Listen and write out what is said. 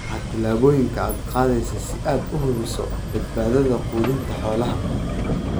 Maxaa tillaabooyinka aad qaadaysaa si aad u hubiso badbaadada quudinta xoolaha?